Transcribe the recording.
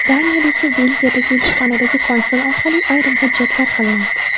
Daniyada esa Belgiyadagi elchixonadagi konsul orqali ayrim hujjatlar qilinardi.